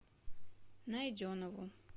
найденову